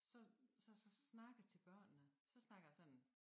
Så så snakkede til børnene så snakker jeg sådan